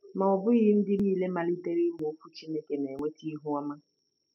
Ma ọ bụghị ndị nile malitere ịmụ Okwu Chineke na-enweta ihu ọma ya.